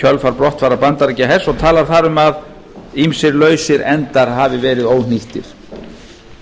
kjölfar brottfarar bandaríkjahers og talar þar um að ýmsir lausir endar hafi verið óhnýttir